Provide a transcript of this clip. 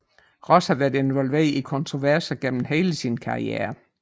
Ross har været involveret i kontroverser igennem hele sin karriere